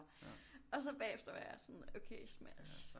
Og så bagefter var jeg sådan okay smash